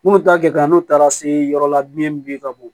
Minnu ta gɛlɛn n'u taara se yɔrɔ la biyɛn min b'i ka bon